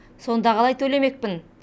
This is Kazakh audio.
сонда қалай төлемекпін